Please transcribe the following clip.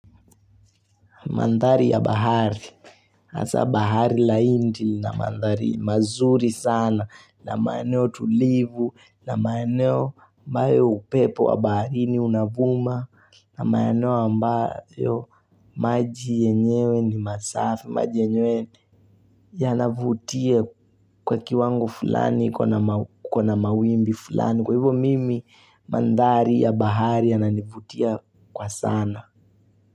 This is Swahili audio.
Mandhari ya bahari, hasa bahari la hindi lina mandhari mazuri sana na maeneo tulivu na maeneo ambayo upepo wa baharini unavuma na maeneo ambayo maji yenyewe ni masafi, maji yenyewe yanavutia kwa kiwango fulani kukona mawimbi fulani kwa hivyo mimi mandhari ya bahari yananivutia kwa sana.